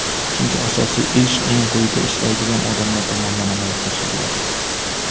Chunki asosiy ish eng quyida ishlaydigan odamlar tomonidan amalga oshiriladi.